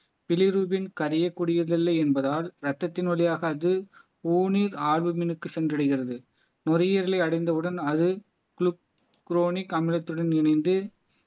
bilirubin கரையக்கூடியது இல்லை என்பதால் ரத்தத்தின் வழியாக அது ஓனில் ஆக்ஸிஜன்க்கு சென்றடைகிறது நுரையீரலை அடைந்தவுடன் அது குளுகுரோனிக் அமிலத்துடன் இணைந்து